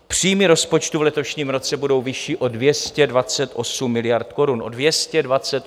Příjmy rozpočtu v letošním roce budou vyšší o 228 miliard korun.